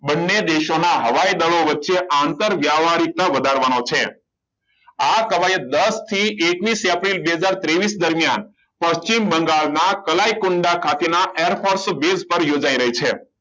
બંને દેશોના હવા હવાઈ દડો વચ્ચે આંતરવ્યવહારિક ના વધારવાનો છે આ કવાયત દળ થી એક્વિસ એપ્રિલ બે હજાર ત્રેવિસ દરમિયાન પશ્ચિમ બંગાળના તલાઈ કુંડળ ખાતેના airforce base પર યોજાઈ રહી છે